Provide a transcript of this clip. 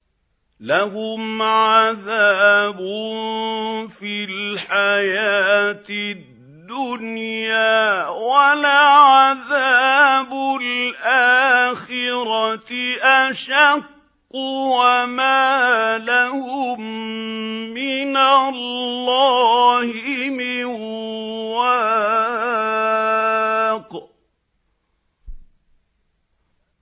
لَّهُمْ عَذَابٌ فِي الْحَيَاةِ الدُّنْيَا ۖ وَلَعَذَابُ الْآخِرَةِ أَشَقُّ ۖ وَمَا لَهُم مِّنَ اللَّهِ مِن وَاقٍ